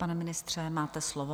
Pane ministře, máte slovo.